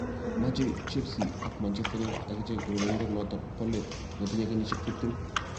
Mochei Chelsea ak Manchester United akichek urerenindenoto bo let netinye kenyisiek tiptem